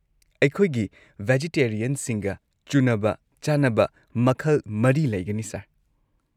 ꯑꯩꯈꯣꯏꯒꯤ ꯚꯦꯖꯤꯇꯦꯔꯤꯌꯟꯁꯤꯡꯒ ꯆꯨꯅꯕ ꯆꯥꯅꯕ ꯃꯈꯜ ꯴ ꯂꯩꯒꯅꯤ ꯁꯔ꯫